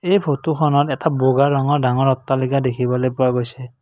এই ফটোখনত এটা বগা ৰঙৰ ডাঙৰ অট্টালিকা দেখিবলৈ পোৱা গৈছে।